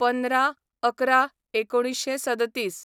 १५/११/१९३७